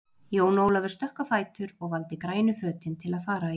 Jón Ólafur stökk á fætur og valdi grænu fötin til að fara í.